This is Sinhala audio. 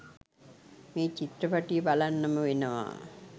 මෙ චිත්‍රපටිය බලන්නම වෙනවා..